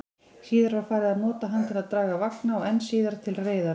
Síðar var farið að nota hann til að draga vagna, og enn síðar til reiðar.